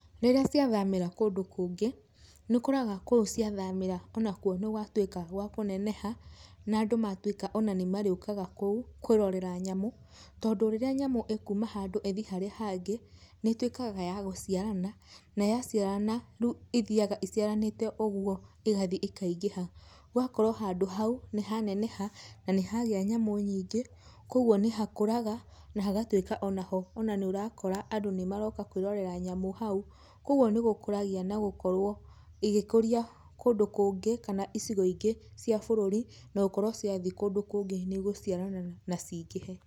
Rĩrĩa ciathamĩra kũndũ kũngĩ, nĩũkoraga kũu ciathamĩra onakuo nigwatuĩka gwa kũneneha na andũ matũika ona nĩmarĩukaga kũu kwĩrorera nyamũ, tondũ rĩrĩa nyamũ ĩkuma handũ ĩthiĩ harĩa hangĩ nĩtuĩkaga ya gũciarana na yaciarana riu ithiaga iciaranĩte ũguo igathiĩ ikaingĩha ũgakora handũ hau nĩ ha neneha na nĩ hagĩa nyamũ nyingĩ kwoguo nĩhakũraga na hagatuĩka ona ho nĩũrakora andũ nĩmaroka kwĩĩrorera nyamũ hau kwoguo nigũkũragia na gũkorwo igĩkũria kũndũ kũngĩ kana icigo ingĩ cia bũrũri nokorwo ciathiĩ kũndũ kũngĩ nĩ ĩgũciarana na cingĩhe.